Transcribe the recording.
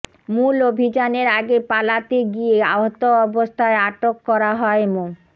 মূল অভিযানের আগে পালাতে গিয়ে আহত অবস্থায় আটক করা হয় মো